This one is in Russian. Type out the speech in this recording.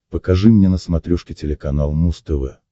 покажи мне на смотрешке телеканал муз тв